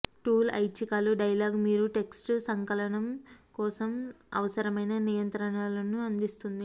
tool ఐచ్ఛికాలు dialog మీరు text సంకలనం కోసం అవసరమైన నియంత్రణలను అందిస్తుంది